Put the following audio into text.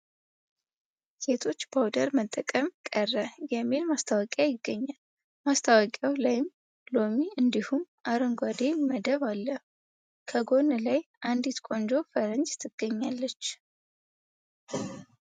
ሴቶች powder መጠቀም ቀረ የሚል ማስታወቂያ ይገኛል ማስታወቂያው ላይም ሎሚ እንዲሁም አረንጓዴ መደብ አለው ።ከጎን ላይ አንዲት ቆንጆ ፈረንጅ ትገኛለች ።